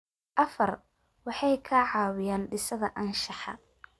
Afar, waxay ka caawiyaan dhisidda anshaxa.